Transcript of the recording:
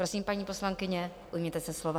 Prosím, paní poslankyně, ujměte se slova.